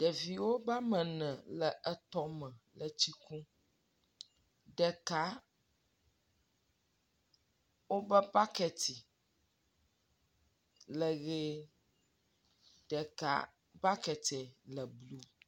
Ɖeviwo be ame ene wo le etɔ̃ me etsi kum. Ɖeka wobe baketi le ʋi ɖeka baketia le blu.